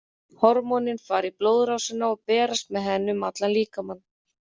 Hormónin fara í blóðrásina og berast með henni um allan líkamann.